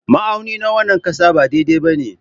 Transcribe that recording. Ma'auni na wannan ƙasa ba daidai ba ne.